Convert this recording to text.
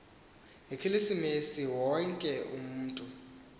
ngekilisimesi wonke umatu